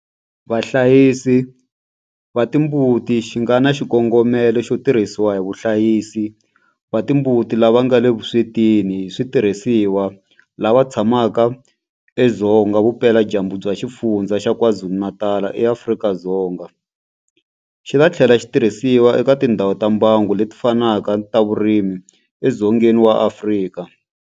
Vahlayisi va timbuti xi nga na xikongomelo xo tirhisiwa hi vahlayisi va timbuti lava nga le vuswetini hi switirhisiwa lava tshamaka edzonga vupeladyambu bya Xifundzha xa KwaZulu-Natal eAfrika-Dzonga, xi ta tlhela xi tirhisiwa eka tindhawu ta mbango leti fanaka ta vurimi edzongeni wa Afrika.